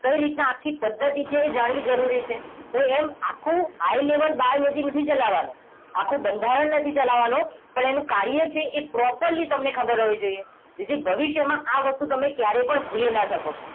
કઈ રીતના આખી પદ્ધતિ છે એ જાણવી જરૂરી છે તો એમ આખું આઈ લેવલ બાર સુધી નથી ચલાવવાનો આખું બંધારણ નથી ચલાવવાનો પણ એનું કાર્ય છે એ properly તમને ખબર હોવી જોઈએ જેથી ભવિષ્યમાં આ વસ્તુ તમે ક્યારે પણ ભૂલી ના શકો